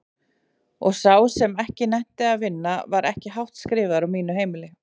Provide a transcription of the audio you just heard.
Og sá sem ekki nennti að vinna var ekki hátt skrifaður á mínu heimili.